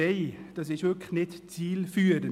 Das ist wirklich nicht zielführend.